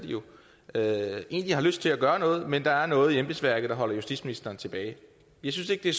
er det jo egentlig har lyst til at gøre noget men at der er noget i embedsværket der holder justitsministeren tilbage jeg synes ikke